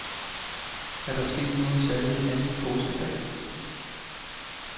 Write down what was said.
Er der sket noget særligt anden påskedag?